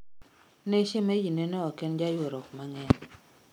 Ne shemeji ne no oken jayuarruok mang'eny